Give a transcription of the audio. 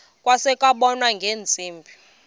kwase kubonwa ngeentsimbi